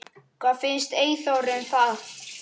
Hvað fannst Eyþóri um það?